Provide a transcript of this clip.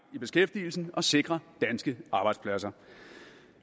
i beskæftigelsen og sikre danske arbejdspladser